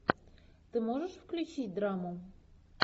ты можешь включить драму